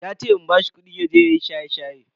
Yace in bashi kudi yaje yayi shaye-shaye.